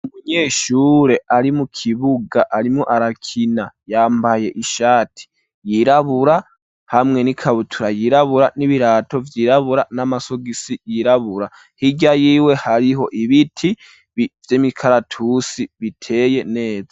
Umunyeshure ari mu kibuga arimwo arakina, yambaye ishati yirabura hamwe n'ikabutura yirabura n'ibirato vyirabura n'amasogisi yirabura, hirya yiwe hariho ibiti vy'imikaratusi biteye neza.